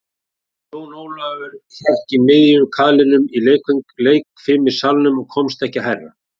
Jón Ólafur hékk í miðjum kaðlinum í leikfimissalnum og komst ekki hærra.